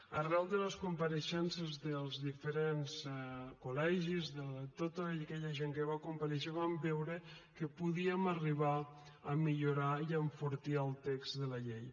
arran de les compareixences dels diferents col·legis de tota aquella gent que va comparèixer vam veure que podíem arribar a millorar i a enfortir el text de la llei